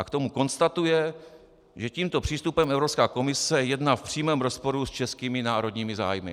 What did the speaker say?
A k tomu konstatuje, že: "Tímto přístupem Evropská komise jedná v přímém rozporu s českými národními zájmy."